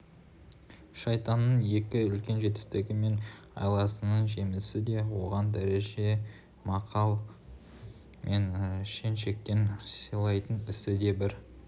шайтанның ең үлкен жетістігі мен айласының жемісі де оған дәреже-мақам мен шен-шекпен сыйлайтын ісі де бір